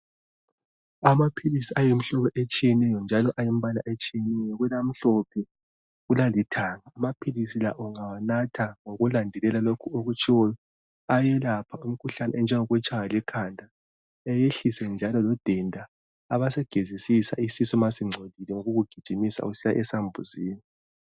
Amaphilisi ayimihlobo etshiyeneyo njalo ayimbala etshiyeneyo kulamhlophe kulalithanga amaphilisi la ungawanatha ngokulandelela lokhu okutshiwoyo ayewelapha umkhuhlane njengokutshaywa likhanda ayehlise njalo udenda abesegezisisa isisu umasingcolile ngokugijimisa usiya esambuzini